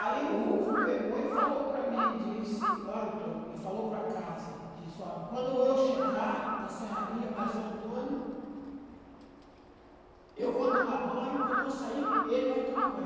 Aí o Rufo pegou e falou para mim e disse, ó Antônio, e falou para casa, disse, olha, quando eu chegar da serraria, mais o Antônio, eu vou tomar banho, quando eu sair, ele vai tomar banho.